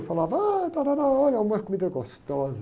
Eu falava, ah, tárárá, olha, uma comida gostosa.